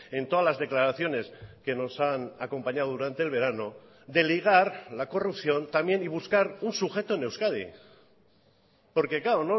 en todas las declaraciones que nos hanacompañado durante el verano de ligar la corrupción también y buscar un sujeto en euskadi porque claro